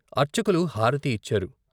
అర్చకులు హారతి ఇచ్చారు.